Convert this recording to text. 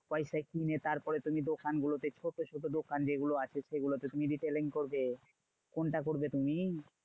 পয়সায় কিনে তারপরে তুমি দোকানগুলোতে ছোট ছোট দোকান যেগুলো আছে সেগুলোতে তুমি retailing করবে?